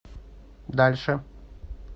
дальше